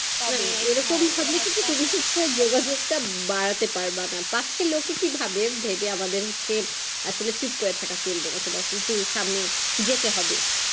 তবে এরকম থাকলে কিন্তু তুমি যোগাযোগ টা বাড়াতে পানবারা, পাঁচটা লোকে কি ভাবে এর ভেবে আমাদের হচ্ছে আসলে চুপ করে থাকা চলবে না তোমার। কিন্তু ওর সামনে যেতে হবে।